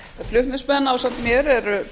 flutningsmenn ásamt mér eru